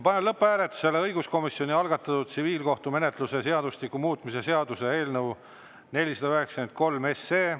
Panen lõpphääletusele õiguskomisjoni algatatud tsiviilkohtumenetluse seadustiku muutmise seaduse eelnõu 493.